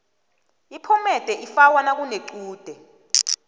iphomede ifakwa nakunechude